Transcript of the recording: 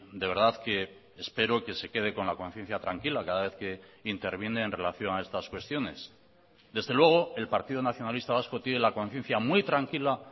de verdad que espero que se quede con la conciencia tranquila cada vez que interviene en relación a estas cuestiones desde luego el partido nacionalista vasco tiene la conciencia muy tranquila